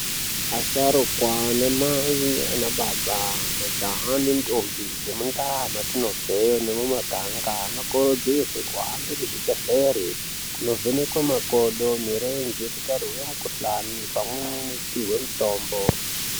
Asharukwa ana mai nana baba majaha nendombi dzemu ndau dzatinobva nemuganga anokurudzirwa kuhambe kuzvibhedhlera kundovhenekwa makodo mirenje kuti arapwe mikuhlani pamweni nekupihwa mitombo.